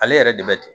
Ale yɛrɛ de bɛ ten